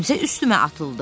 Kimsə üstümə atıldı.